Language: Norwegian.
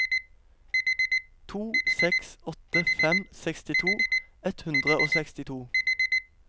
to seks åtte fem sekstito ett hundre og sekstito